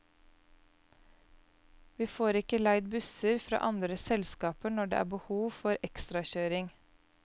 Vi får ikke leid busser fra andre selskaper når det er behov for ekstrakjøring.